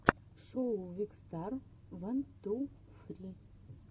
шоу викстар ван ту фри